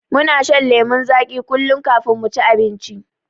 Muna shan lemon zagi kullun kafin muci abinci